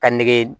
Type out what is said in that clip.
Ka nege